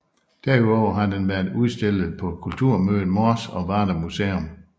Derudover har den været udstillet på Kulturmødet Mors og Varde Museum